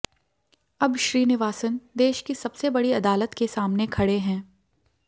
अब श्रीनिवासन देश की सबसे बड़ी अदालत के सामने खड़े हैं